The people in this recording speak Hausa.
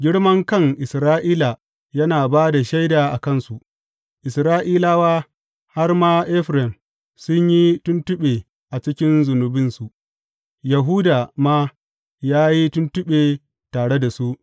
Girmankan Isra’ila yana ba da shaida a kansu; Isra’ilawa, har ma Efraim, sun yi tuntuɓe a cikin zunubinsu; Yahuda ma ya yi tuntuɓe tare da su.